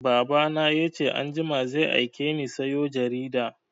Baba na ya ce anjima zai aike ni sayo jarida